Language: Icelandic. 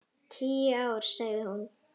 Tíu ár, sagði hún.